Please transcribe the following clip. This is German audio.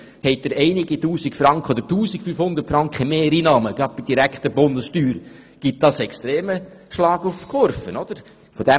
Haben Sie einige Tausend Franken Mehreinnahmen gerade bei der direkten Bundessteuer, gibt das einen extremen «Schlag auf die Kurve».